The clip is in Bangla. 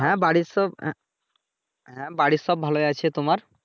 হ্যাঁ বাড়ির সব আহ হ্যাঁ বাড়ীর সব ভালোই আছে তোমার?